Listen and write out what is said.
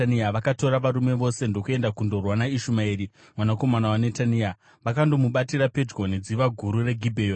vakatora varume vose ndokuenda kundorwa naIshumaeri mwanakomana waNetania. Vakanomubatira pedyo nedziva guru reGibheoni.